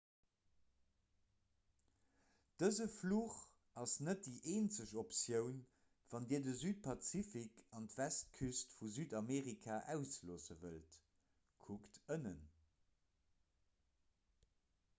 dëse fluch ass net déi eenzeg optioun wann dir de südpazifik an d'westküst vu südamerika ausloosse wëllt. kuckt ënnen